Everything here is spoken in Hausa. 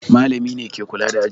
Malami ne ke kula da aji.